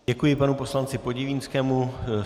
Děkuji panu poslanci Podivínskému.